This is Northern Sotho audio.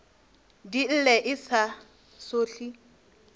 di lle e sa sohle